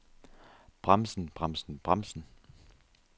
bremsen bremsen bremsen